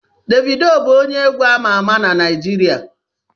Davido bụ onye egwu ama ama na Naijiria